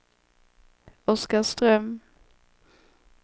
Oskarström